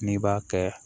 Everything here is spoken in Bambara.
N'i b'a kɛ